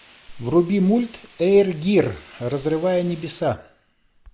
вруби мульт эйр гир разрывая небеса